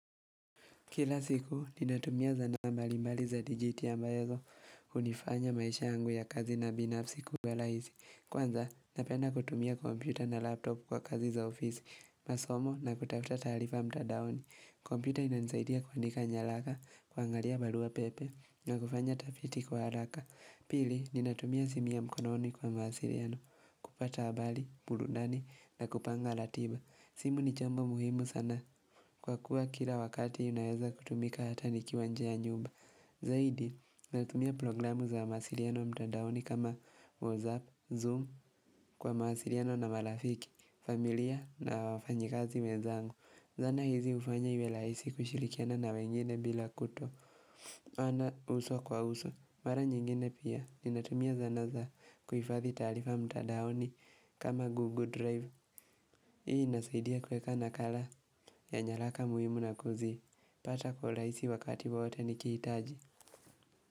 Kila siku, ninatumia za nambali mbali za digitia mbaezo, unifanya maisha angu ya kazi na binafsi kuwalaisi. Kwanza, napenda kutumia kompyuta na laptop kwa kazi za ofisi, masomo na kutafta tarifa mtadaoni. Komputa ina nisaidia kuandika nyalaka, kuangalia balua pepe, na kufanya tafiti kwa halaka. Pili, ninatumia simu ya mkononi kwa mawasiliano, kupata habali, mburundani, na kupanga latiba. Simu ni chambo muhimu sana kwa kuwa kila wakati inaweza kutumika hata nikiwa njee ya nyumba Zaidi natumia programu za mawasiliano mtandaoni kama WhatsApp, Zoom kwa mawasiliano na malafiki, familia na wafanyikazi wenzangu Zana hizi ufanya iwe laisi kushilikiana na wengine bila kuto wana uso kwa uso Mara nyingine pia ni natumia zana za kuhifathi talifa mtadaoni kama Google Drive Hii nasaidia kuweka nakala ya nyalaka muhimu na kuzi, pata kwa laisi wakati wowote nikitaji.